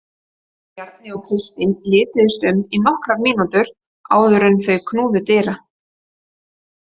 Bjarni og Kristín lituðust um í nokkrar mínútur áður en þau knúðu dyra.